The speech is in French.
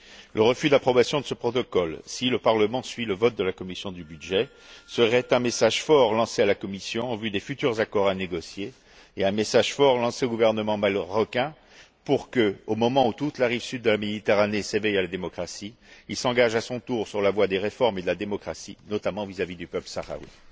Le refus d'approbation de ce protocole si le Parlement suit le vote de la commission des budgets serait un message fort lancé à la Commission en vue des futurs accords à négocier et un message fort lancé au gouvernement marocain pour que, au moment où toute la rive sud de la Méditerranée s'éveille à la démocratie, il s'engage à son tour sur la voie des réformes et de la démocratie, notamment vis à vis du peuple sahraoui.